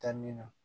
Taa min na